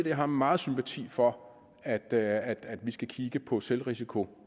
jeg har meget sympati for at at vi skal kigge på selvrisikoen